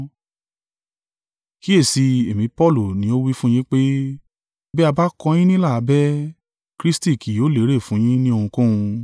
Kíyèsi i, èmi Paulu ni ó wí fún yín pé, bí a bá kọ yín nílà abẹ́, Kristi kì yóò lérè fún yín ní ohunkóhun.